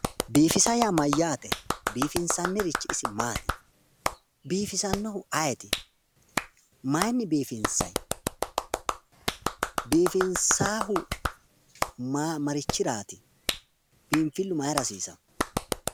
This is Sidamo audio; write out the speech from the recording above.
Biifisa yaa mayyaate? biifinsannirichi isi maati? biifisannohu ayiiti? mayiinni biifinsayi? biifinsaayiihu marichiraati? biinfillu mayiira hasiisawo?